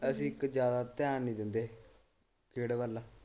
ਅਸੀ ਕੁਝ ਜਿਆਦਾ ਧਿਆਨ ਨਹੀਂ ਦਿੰਦੇ ਖੇਡ ਵੱਲ।